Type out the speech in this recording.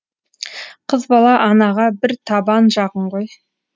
қыз бала анаға бір табан жақын ғой